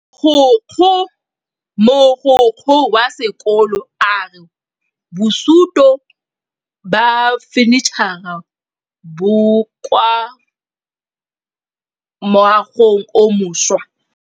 Mogokgo wa sekolo a re bosutô ba fanitšhara bo kwa moagong o mošwa.